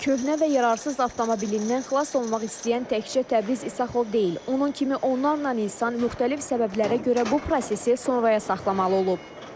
Köhnə və yararsız avtomobilindən xilas olmaq istəyən təkcə Təbriz İsaxov deyil, onun kimi onlarla insan müxtəlif səbəblərə görə bu prosesi sonraya saxlamalı olub.